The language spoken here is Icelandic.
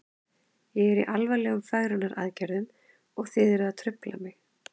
Ég er í alvarlegum fegrunaraðgerðum og þið eruð að trufla mig.